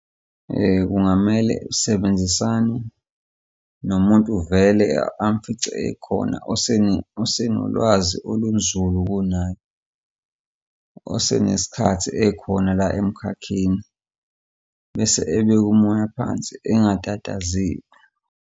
Kungamele esebenzisane nomuntu vele amfice ekhona osenolwazi olunzulu kunayo. Osenesikhathi ekhona la emkhakheni, bese ebeka umoya phansi engatatazeli.